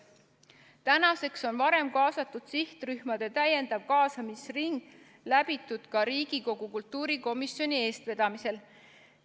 Tänaseks on varem kaasatud sihtrühmade täiendav kaasamisring läbitud ka Riigikogu kultuurikomisjoni eestvedamisel.